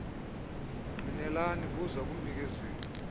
ngqinelani buza kumnikezeli